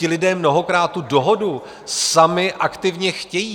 Ti lidé mnohokrát tu dohodu sami aktivně chtějí.